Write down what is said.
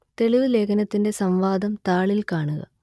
തെളിവ് ലേഖനത്തിന്റെ സംവാദം താളിൽ കാണുക